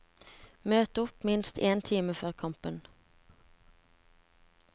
Møt opp minst én time før kampen.